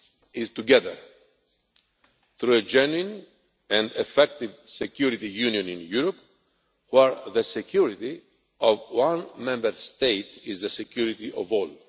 is together, through a genuine and effective Security Union in Europe, where the security of one Member State is the security of all.